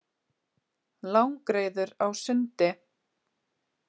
Langreyður á sundi.